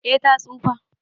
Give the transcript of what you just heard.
Eh ta tsufa.